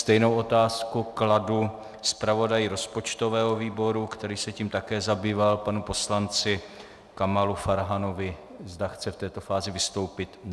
Stejnou otázku kladu zpravodaji rozpočtového výboru, který se tím také zabýval, panu poslanci Kamalu Farhanovi, zda chce v této fázi vystoupit.